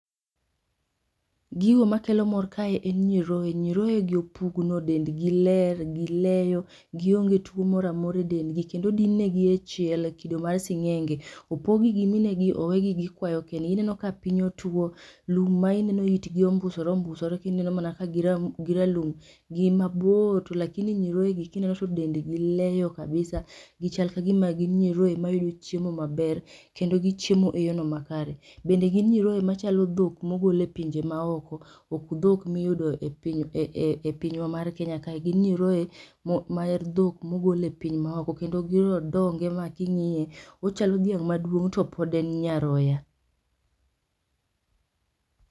Gigo makelo mor kae en nyiroye. nyiroyegi opugno, dendgi ler, gileyo gionge tuo moro amora edendgi kendo odin negi echiel mekido mar sing'enge. Opog gi gi mine gi kendo gikwayo kendgi. Ineno ka piny otwo, lum ma ineno ka itgi ombusore ombusore, ineno mana kagin ralum to gin mabor lakini nyiroye gi kineno to dendgi leyo kabisa gichal kagima gin nyiroye mayudo chiemo maber kabisa. Kendo gichiemo eyorno makare. Bende gin nyiroye machalo dhok mogol epinje maoko. Ok dhok miyudo e piny e pinywa mar Kenya kae, gin nyiroye mar dhok mogol e piny maoko. Kendo grondonge ma king'iye ochalo dhiang maduong' to pod en nyaroya.